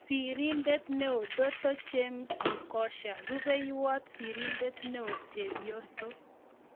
Sirindeet �eoo -Doto James Mgosha. Rupeiywot sirindet neoo-chepyoso